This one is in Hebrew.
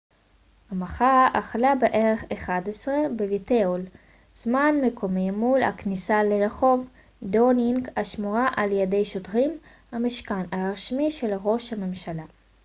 המחאה החלה בערך ב-11:00 זמן מקומי utcּ+1 בווייטהול מול הכניסה לרחוב דאונינג השמורה על ידי שוטרים המשכן הרשמי של ראש הממשלה